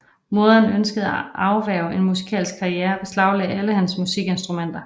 Moderen ønskede at afværge en musikalsk karriere og beslaglagde alle hans musikinstrumenter